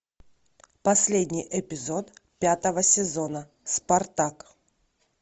последний эпизод пятого сезона спартак